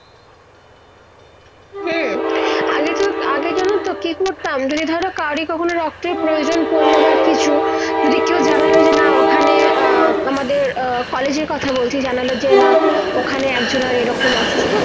হ্যাঁ আগে তো আগে যানও তো কি করতাম যদি ধরো কাডি কখনও রক্তে প্রয়োজন পরলো বা কিছু যদি কেও জানালে না ওখানে আহ আমাদের আহ collage র কথা বলছি যানালে যে না ওখানে একজনার এ রকম অসুস্থ